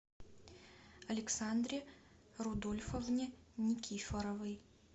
александре рудольфовне никифоровой